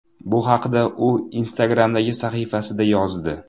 Bu haqda u Instagram’dagi sahifasida yozdi .